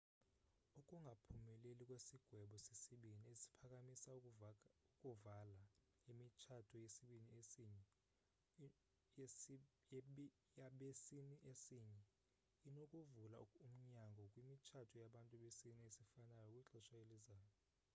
ukungaphumeleli kwesigwebo sesibini esiphakamisa ukuvala imitshato yabesini esinye inokuvula umnyango kwimitshato yabantu besini esifanayou kwixesha elizayo